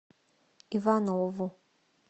иванову